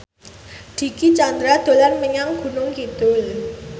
Dicky Chandra dolan menyang Gunung Kidul